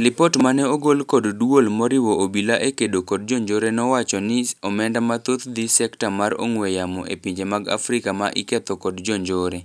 Lipot mane ogol kod duol moriwo obila e kedo kod jonjore neowacho ni omenda mathoth dhi sekta mar ong'we yamo e pinje mag Afrika ma iketho kod jonjore.